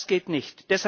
Das geht nicht!